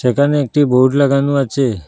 এখানে একটি বোর্ড লাগানো আছে।